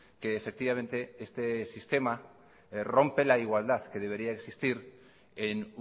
que efectivamente este sistema rompe la igualdad que debería existir en